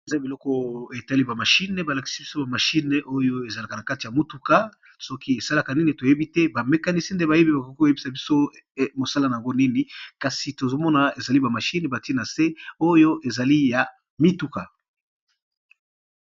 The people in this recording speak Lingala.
Eza ba machine ezalaka nakati ya mutuka ba mécanicien nde bayebi esalaka nini nakati ya mutuka.